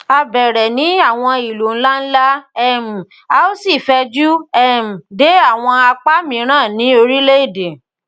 a bẹrẹ ni awọn ilu nlanla um a o si fẹju um de awọn apa miiran ni orilẹede